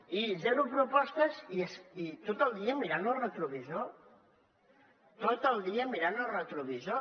i zero propostes i tot el dia mirant el retrovisor tot el dia mirant el retrovisor